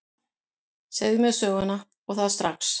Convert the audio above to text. Segðu mér söguna, og það strax.